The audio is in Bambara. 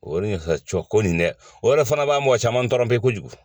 O de ka cɔ ko nin dɛ o yɛrɛ fana b'a mɔgɔ caman tɔɔrɔ bɛ kojugu